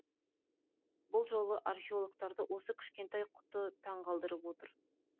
бұл жолы археологтарды осы кішкентай құты таңғалдырып отыр